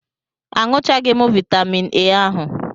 Aṅụchaghị m vaitamin A ahu.